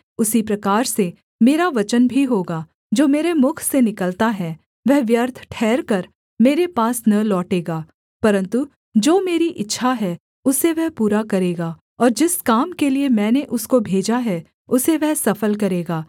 उसी प्रकार से मेरा वचन भी होगा जो मेरे मुख से निकलता है वह व्यर्थ ठहरकर मेरे पास न लौटेगा परन्तु जो मेरी इच्छा है उसे वह पूरा करेगा और जिस काम के लिये मैंने उसको भेजा है उसे वह सफल करेगा